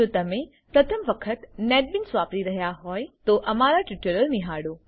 જો તમે પ્રથમ વખત નેટબીન્સ વાપરી રહ્યા હોય તો અમારા ટ્યુટોરીયલો નિહાળો